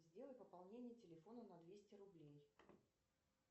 сделай пополнение телефона на двести рублей